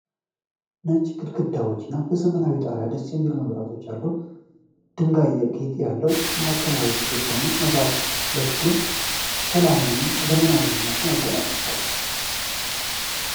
ነጭ ግድግዳዎች እና ዘመናዊው ጣሪያ ደስ የሚሉ መብራቶች አሉ። የድንጋይ ጌጥ ያለው ማዕከላዊ ግድግዳ እና መብራቶቹ ለክፍሉ ሰላምን እና ዘመናዊነትን ያጎናጽፋሉ።